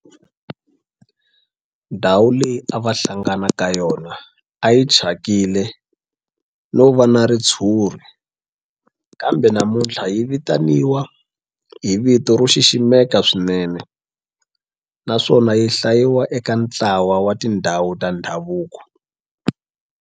Ndhawu leyi a va hlangana ka yona a yi thyakile no va na ritshuri kambe namuntlha yi vitaniwa hi vito ro xiximeka swinene naswona yi hlayiwa eka ntlawa wa tindhawu ta ndhavuko.